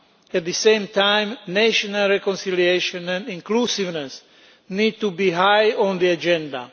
At the same time, national reconciliation and inclusiveness need to be high on the agenda.